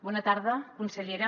bona tarda consellera